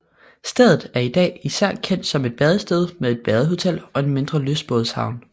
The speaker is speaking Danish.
Stedet er i dag især kendt som et badested med et badehotel og en mindre lystbådehavn